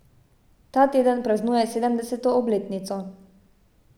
Ta teden praznuje sedemdeseto obletnico.